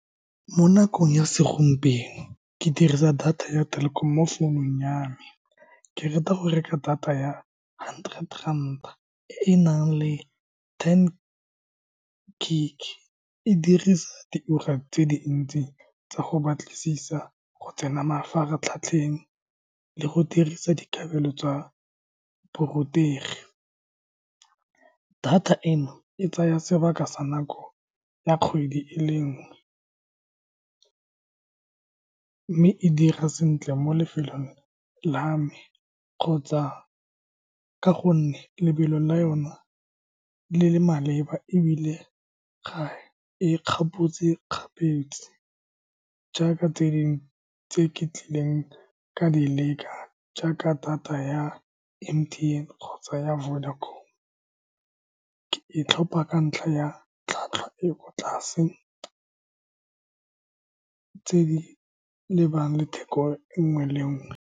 Mo nakong ya segompieno, ke dirisa data ya Telkom-o mo founung ya me. Ke rata go reka data ya hundred rand e e nang le ten gig. E dirisa di ura tse dintsi tsa go batlisisa, go tsena mafaratlhatlheng, le go dirisa dikabelo tsa borutegi. Data eno e tsaya sebaka sa nako ya kgwedi e le nngwe, mme e dira sentle mo lefelong la me kgotsa ka gonne lebelo la yone le le maleba, ebile ga e kgapotse kgapetse, jaaka tse di tse ke tlileng ka di leka, jaaka data ya M_T_N kgotsa ya Vodacom-o. Ke e tlhopha ka ntlha ya tlhwatlhwa e e ko tlase, tse di lebang le theko e nngwe le e nngwe.